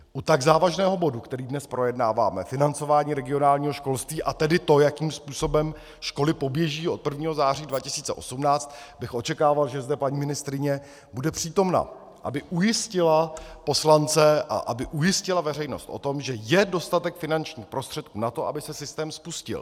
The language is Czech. U tak závažného bodu, který dnes projednáváme, financování regionálního školství, a tedy to, jakým způsobem školy poběží od 1. září 2018, bych očekával, že zde paní ministryně bude přítomna, aby ujistila poslance a aby ujistila veřejnost o tom, že je dostatek finančních prostředků na to, aby se systém spustil.